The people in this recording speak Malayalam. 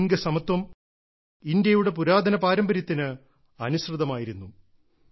ലിംഗസമത്വം ഇന്ത്യയുടെ പുരാതന പാരമ്പര്യത്തിന് അനുസൃതമായിരുന്നു